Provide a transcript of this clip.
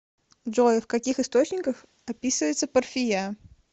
джой в каких источниках описывается парфия